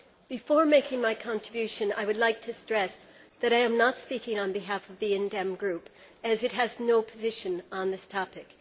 Before making my contribution, I would like to stress that I am not speaking on behalf of the IND DEM Group as it has no position on this topic.